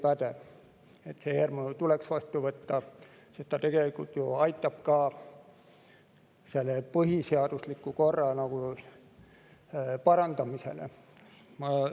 See eelnõu tuleks vastu võtta, sest ta tegelikult ju aitab ka põhiseadusliku korra parandamisele kaasa.